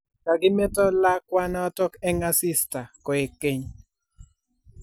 kakimeto lakwanotok eng asista koek keny